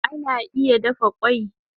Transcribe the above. Egg can be boiled